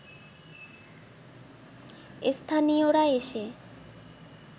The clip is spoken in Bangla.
স্থানীয়রা এসে